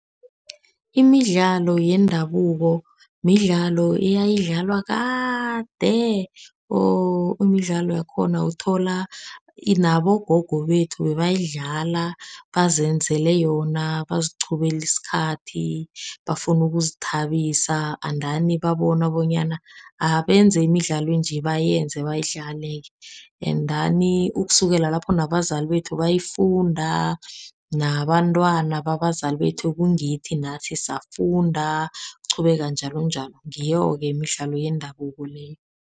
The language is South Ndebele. Imidlalo yendabuko midlalo eyayidlalwa kade or imidlalo yakhona uthola inabogogo bethu. Bebayidlala bazenzele yona baziqhubela isikhathi. Bafuna ukuzithabisa andani babona bonyana abenze imidlalo enje. Bayenze bayidlale-ke, endani ukusukela lapho nabezali bethu bayifunda, nabantwana babazali bethu, ekungithi nathi safunda ukuqhubeka njalonjalo, ngiyoke imidlalo yendabuko le.